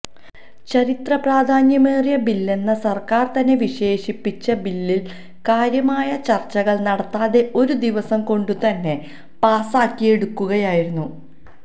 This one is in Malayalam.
ചരിത്ര പ്രാധാന്യമേറിയ ബില്ലെന്ന് സര്ക്കാര് തന്നെ വിശേഷിപ്പിച്ച ബില്ലില് കാര്യമായ ചര്ച്ചകള് നടത്താതെ ഒരു ദിവസം കൊണ്ടുതന്നെ പാസ്സാക്കിയെടുക്കുകയായിരുന്നു